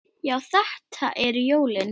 Já, þetta eru jólin!